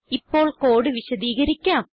ഇപ്പോൾ കോഡ് വിശദീകരിക്കാം